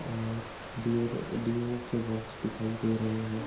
और Dior deo के box दिखाई दे रहे हैं ।